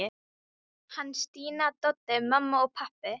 Hann, Stína, Doddi, mamma og pabbi.